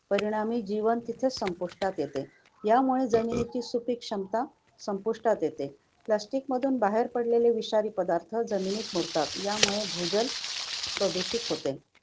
परिणामी, जीवन तिथेच संपुष्टात येते. यामुळे जमिनीची सुपीक क्षमता संपुष्टात येते. Plastic मधून बाहेर पडलेले विषारी पदार्थ जमिनीत मुरतात. यामुळे भूजल प्रदूषित होते.